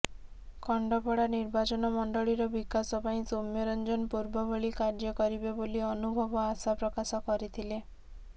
ଖଣ୍ଡପଡା ନିର୍ବାଚନମଣ୍ଡଳୀର ବିକାଶ ପାଇଁ ସୌମ୍ୟରଞ୍ଜନ ପୂର୍ବଭଳି କାର୍ଯ୍ୟ କରିବେ ବୋଲି ଅନୁଭବ ଆଶା ପ୍ରକାଶ କରିଥିଲେ